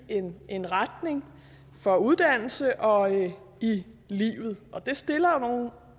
en retning for uddannelse og i livet og det stiller jo nogle